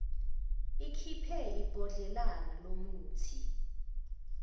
ikhiphe ibhodlelana lomuthi